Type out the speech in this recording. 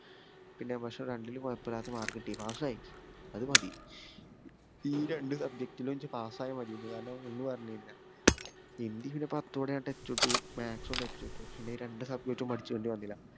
പിന്നെ പക്ഷേ രണ്ടിലും കൊയോപ്പോല്ലാത്ത mark കിട്ടി pass ആയി അത് മതി. ഈ രണ്ട് subject ലും നിച് pass ആയ മതിന്ന് കാരണം ഒന്ന് പറഞ്ഞ കയിഞ്ഞാ ഹിന്ദി പിന്നെ പത്തോടെ ഞാൻ touch വിട്ടു maths ഉം touch വിട്ടു പിന്നെ ഈ രണ്ട് subject ഉം പഠിച്ചെണ്ടി വന്നില്ല